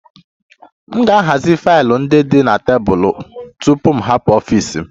M ga-ahazi faịlụ ndị dị na tebụl m tupu m hapụ ọfịs m